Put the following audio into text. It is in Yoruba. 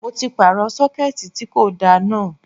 Mo ti pààrọ̀ Sọ́kẹ́tì tí kò da náà.